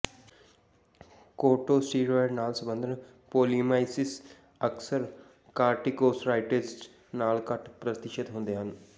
corticosteroids ਨਾਲ ਸੰਬੰਧਤ ਪੋਲੀਮੀਅਲਾਈਸਿਸ ਅਕਸਰ ਕਾਰਟੀਕੋਸਟੋਰਾਇਡਜ਼ ਲਈ ਘੱਟ ਪ੍ਰਤੀਸ਼ਤ ਹੁੰਦੇ ਹਨ